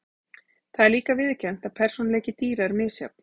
Það er líka viðurkennt að persónuleiki dýra er misjafn.